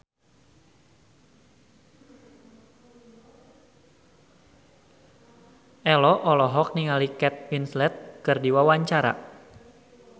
Ello olohok ningali Kate Winslet keur diwawancara